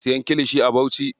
Muna siyan kilishi a Bauchi.